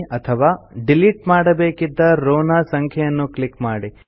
ಅಥವಾ ಡಿಲಿಟ್ ಮಾಡಬೇಕಿದ್ದ ರೋವ್ ನ ಸಂಖ್ಯೆಯನ್ನು ಕ್ಲಿಕ್ ಮಾಡಿ